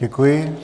Děkuji.